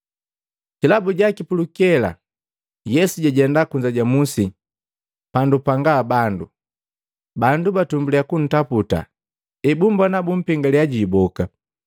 Kilabu jaki pulukela Yesu jajenda kunza ja musi pandu panga bandu. Bandu batumbulya kuntaputa, ebumbona bumpengalya jiiboka.